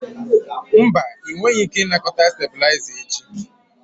Mba, ị nweghị ike ịnakọta stabilizer echi.